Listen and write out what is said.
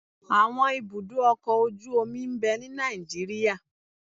Àwọn ibùdó ọkọ̀-ojú omi ń bẹ ní Nàìjíríà